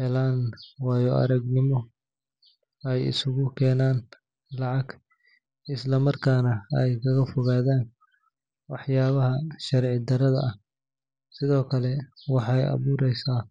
helaan waayo-aragnimo, ay isugu keenaan lacag, isla markaana ay kaga fogaadaan waxyaabaha sharci darrada ah. Sidoo kale, waxay abuureysaa.